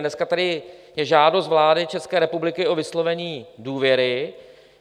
Dneska tady je žádost vlády České republiky o vyslovení důvěry.